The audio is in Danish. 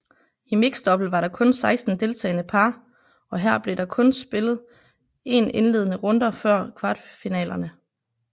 I mixdouble var der kun 16 deltagende par og her blev der kun spillet 1 indledende runder før kvartfinalerne